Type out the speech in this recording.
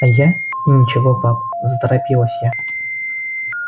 а я и ничего пап заторопилась я